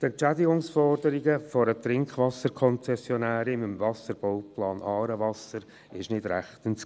Die Entschädigungsforderungen einer Trinkwasserkonzessionärin im Wasserbauplan «Aarewasser» war nicht rechtens.